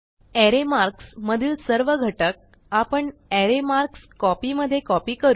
अरे मार्क्स मधील सर्व घटक आपण अरे मार्कस्कोपी मधे कॉपी करू